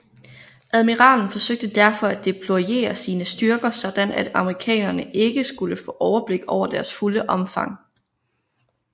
Admiralen forsøgte derfor at deployere sine styrker sådan at amerikanerne ikke skulle få overblik over deres fulde omfang